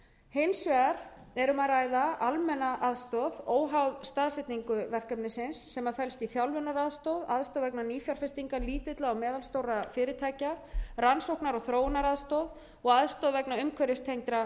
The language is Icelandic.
hins vegar er um að ræða almenna aðstoð óháða staðsetningu verkefnisins sem felst í þjálfunaraðstoð aðstoð vegna nýfjárfestinga lítilla og meðalstórra fyrirtækja rannsóknar og þróunaraðstoð og aðstoð vegna umhverfistengdra